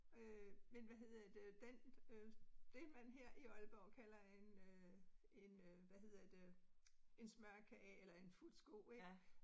Øh men hvad hedder det, den øh, det man her i Aalborg kalder en øh en øh hvad hedder det en smørkage eller en futsko ik